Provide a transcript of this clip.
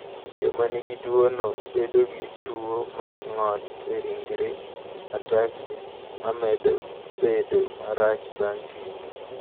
Joma nigi tuwono bedo gi tuwo mar ng’ol e ringregi (ataxia) ma medo bedo marach bang’ kinde.